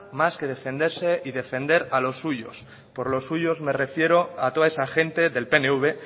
que defenderse y defender a los suyos por los suyos me refiero a toda esa gente del pnv